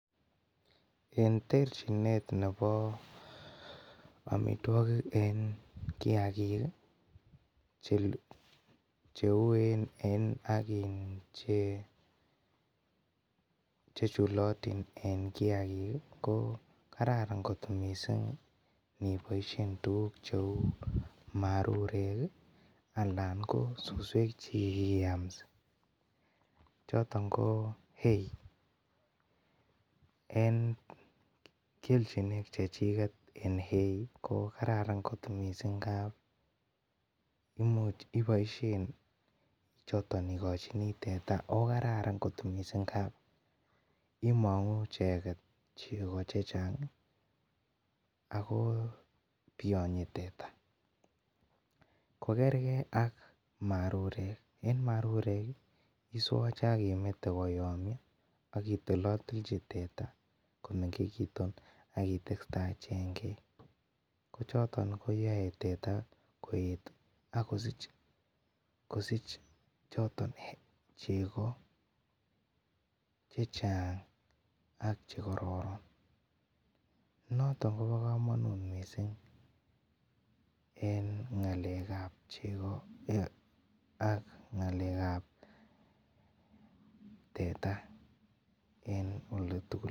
En terchinet nebo amitwokik en kiagik cheuen en ak chechulotin en kiagik ko kararan kot missing aniboisien marurek ii alan ko suswek chekikiyamsi choton ko Hay en kelchinoik chechiket en hay ko kararan kot missing ngap imuch iboisien choton ikochin teta ko kararan kot missing ngap imong'uu icheket cheko chechang ako biyonyi teta, kokerke ak marurek, en marurek iswoche akimete koyomio akitilotilchi teta komengekitu akitesta any chengek kochoton koyoe teta koet akosich choton cheko chechang ak chekororon noton kobo komonut missing en ng'alekab cheko ak ng'alekb teta en olitugul.